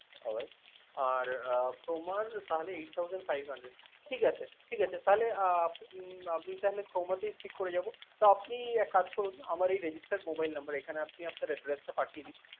All right আর Croma র তাহলে Eight thousand five hundred ঠিকাছে, ঠিকাছে তাহলে আহ উম আমি তাহলে Croma তেই Stick করে যাব। তো আপনি এক কাজ করুণ আমার এই registered mobile number এখানে আপনি আপনার address টা পাঠিয়ে দিন